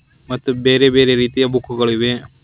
ಮತ್ತು ಬೇರೆ ಬೇರೆ ರೀತಿಯ ಬುಕ್ ಗಳಿವೆ.